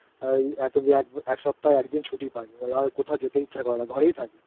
এই এক সপ্তাহে একদিন ছুটি পাই তো আর কোথাও যেতে ইচ্ছা করে না ঘরেই থাকিI